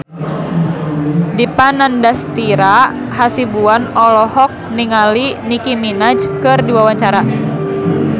Dipa Nandastyra Hasibuan olohok ningali Nicky Minaj keur diwawancara